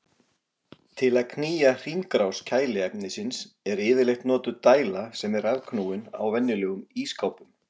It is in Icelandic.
Til að knýja hringrás kæliefnisins er yfirleitt notuð dæla sem er rafknúin á venjulegum ísskápum.